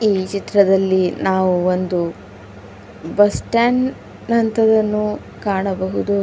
ಈ ಚಿತ್ರದಲ್ಲಿ ನಾವು ಒಂದು ಬಸ್ ಸ್ಟಾಂಡ್ ನಂಥದ್ದನ್ನು ಕಾಣಬಹುದು.